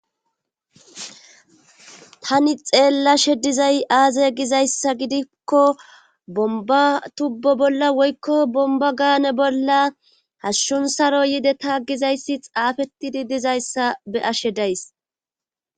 Tani xeellashe dizay aaze gizayssa gidikko bomba tubbo bolla woykko bomba gaane bolla hashshun saro yide taaggizayssi xaafetidi dizayssa be ashe days.